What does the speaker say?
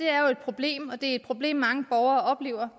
er et problem og det er et problem mange borgere oplever